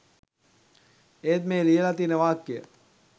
ඒත් මේ ලියලා තියන වාක්‍ය